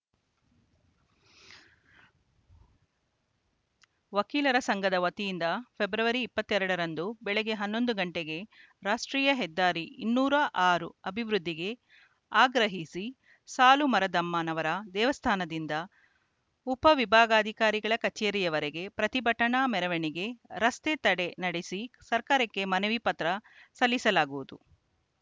ವಕೀಲರ ಸಂಘದ ವತಿಯಿಂದ ಫೆಬ್ರವರಿ ಇಪ್ಪತ್ತೇರಡರಂದು ಬೆಳಗ್ಗೆ ಹನ್ನೊಂದು ಗಂಟೆಗೆ ರಾಷ್ಟ್ರೀಯ ಹೆದ್ದಾರಿ ಇನ್ನೂರ ಆರು ಅಭಿವೃದ್ಧಿಗೆ ಆಗ್ರಹಿಸಿ ಸಾಲುಮರದಮ್ಮನವರ ದೇವಸ್ಥಾನದಿಂದ ಉಪವಿಭಾಗಾಧಿಕಾರಿ ಕಚೇರಿವರೆಗೆ ಪ್ರತಿಭಟನಾ ಮೆರವಣಿಗೆ ರಸ್ತೆ ತಡೆ ನಡೆಸಿ ಸರ್ಕಾರಕ್ಕೆ ಮನವಿ ಪತ್ರ ಸಲ್ಲಿಸಲಾಗುವುದು